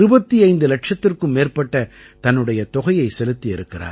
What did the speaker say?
25 இலட்சத்திற்கும் மேற்பட்ட தன்னுடைய தொகையைச் செலுத்தி இருக்கிறார்